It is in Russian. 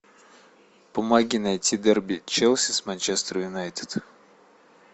помоги найти дерби челси с манчестер юнайтед